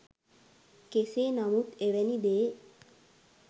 කෙසේ නමුත් එවැනි දේ